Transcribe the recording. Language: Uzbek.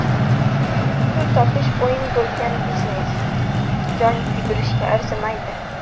pul topish o‘yini bo‘lgan biznes — jon kuydirishga arzimaydi.